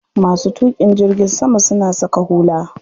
Masu tuƙin jirgin sama suna saka hula.